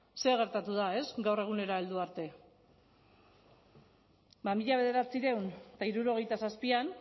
zer gertatu da gaur egunera heldu arte mila bederatziehun eta hirurogeita zazpian